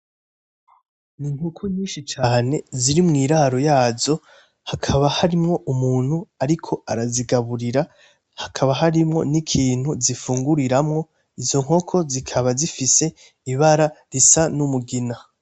N'inkoko nyishi cane ziri mwiraro yazo, hakaba hariho umuntu ariko arazigaburira, hakaba hariho nikintu zifunguriramwo, izo nkoko zikaba zifise ibara risa n'umugina.